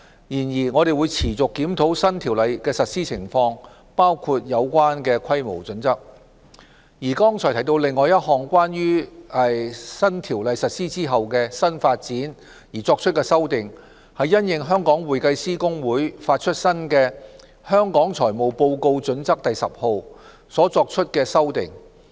然而，我們會持續檢討新《公司條例》的實施情況，包括有關的規模準則。剛才提到另一項屬於反映新《公司條例》實施後的新發展而作出的修訂，是因應香港會計師公會發出新的《香港財務報告準則第10號》所作出的。